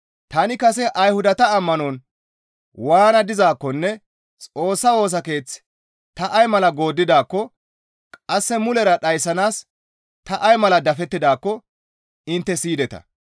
Tani kase Ayhudata ammanon waana dizaakkonne Xoossa Woosa Keeth ta ay mala gooddidaakko qasse mulera dhayssanaas ta ay mala dafettidaakko intte siyideta.